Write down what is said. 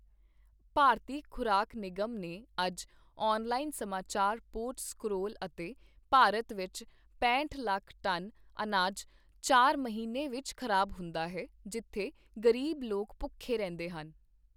ਭਾਰਤੀ ਖ਼ੁਰਾਕ ਨਿਗਮ ਨੇ ਅੱਜ ਔਨਲਾਈਨ ਸਮਾਚਾਰ ਪੋਰਟ ਸਕ੍ਰੋਲ ਅਤੇ ਭਾਰਤ ਵਿੱਚ ਪੈਂਹਟ ਲੱਖ ਟਨ ਅਨਾਜ ਚਾਰ ਮਹੀਨੇ ਵਿੱਚ ਖ਼ਰਾਬ ਹੁੰਦਾ ਹੈ, ਜਿੱਥੇ ਗ਼ਰੀਬ ਲੋਕ ਭੁੱਖੇ ਰਹਿੰਦੇ ਹਨ।